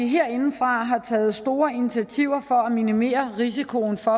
herindefra har vi taget store initiativer for at minimere risikoen for